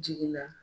Jigila